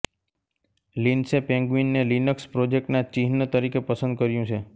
લિનસે પેંગ્વિનને લિનક્સ પ્રોજેક્ટના ચિહ્ન તરીકે પસંદ કર્યું છે